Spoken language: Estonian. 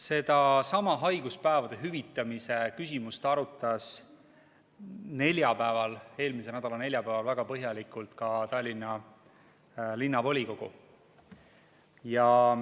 Sedasama haiguspäevade hüvitamise küsimust arutas eelmise nädala neljapäeval väga põhjalikult ka Tallinna Linnavolikogu.